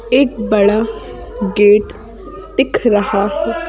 एक बड़ा गेट दिख रहा है।